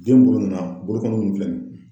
Den bolo nana bolo min filɛ nin